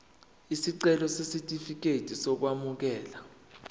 isicelo sesitifikedi sokwamukeleka